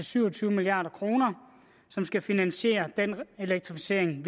syv og tyve milliard kr som skal finansiere den elektrificering